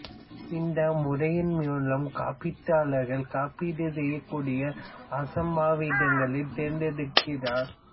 இந்த முறையின் மூலம் காப்பீட்டாளர் காப்பீடு செய்யக்கூடிய அசம்பாவிதங்களை தேர்ந்தெடுக்கிறார்